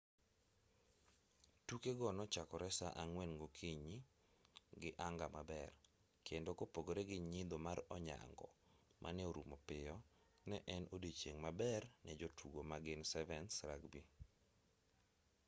tukego nochakore saa ang'wen gokinyi gi anga maber kendo kopogre gi nyidho mar onyango mane orumo piyo ne en odiochieng' maber ne jotugo magin 7's rugby